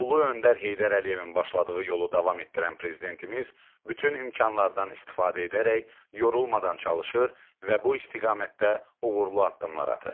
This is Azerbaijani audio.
Ulu öndər Heydər Əliyevin başladığı yolu davam etdirən prezidentimiz bütün imkanlardan istifadə edərək yorulmadan çalışır və bu istiqamətdə uğurlu addımlar atır.